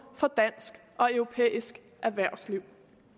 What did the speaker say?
for dansk og europæisk erhvervsliv